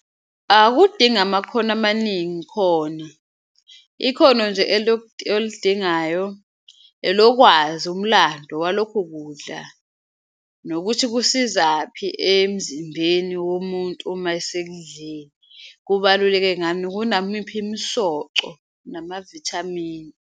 Akudingi amakhono amaningi khona ikhono nje olidingayo elokwazi umlando walokho kudla nokuthi kusizaphi emzimbeni womuntu uma esekudlile, kubaluleke ngani, kunamiphi imisoco namavithamini.